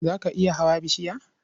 Za ka iya hawa bishiya?